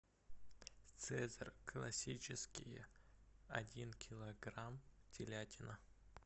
цезарь классические один килограмм телятина